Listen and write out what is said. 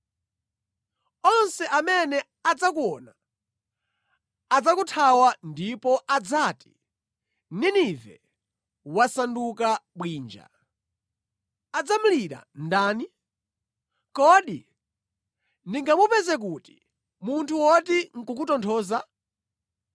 Onse amene adzakuona adzakuthawa ndipo adzati, ‘Ninive wasanduka bwinja, adzamulira ndani?’ Kodi ndingamupeze kuti munthu woti nʼkukutonthoza?”